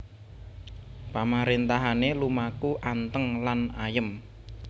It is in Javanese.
Pamaréntahané lumaku anteng lan ayem